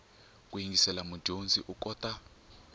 ku yingisela mudyondzi u kota